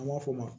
An b'a fɔ o ma